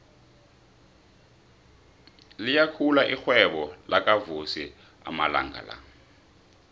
liyakhula irhwebo lakavusi amalanga la